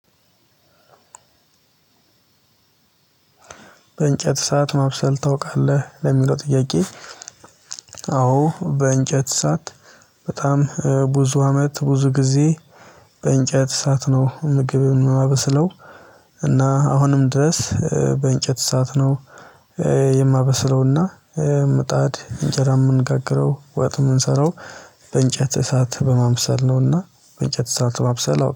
በእንጨት እሳት ማብሰል ታውቃለህ? ለሚለው ጥያቄ አዎ በእንጨት እሳት በጣም ብዙ አመት ብዙ ጊዜ በእንጨት እሳት ነው ምግብን የማበስለው። እና አሁንም ድረስ በእንጨት እሳት ነው የማበስለው። እና ምጣድ እንጀራ የምንጋግረው፣ ወጥ ምንሰራው በእንጨት እሳት በማብሰል ነው። እና በእንጨት እሳት ማብሰል